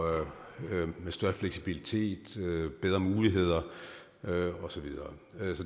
med større fleksibilitet bedre muligheder og så videre